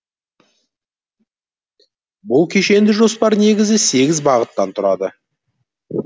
бұл кешенді жоспар негізгі сегіз бағыттан тұрады